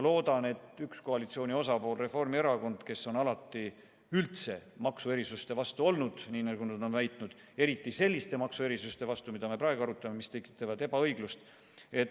Loodan, et sellest lähtub ka üks koalitsiooni osapool, Reformierakond, kes on enda sõnul alati üldse maksuerisuste vastu olnud, eriti selliste maksuerisuste vastu, mida me praegu arutame, mis tekitavad ebaõiglust.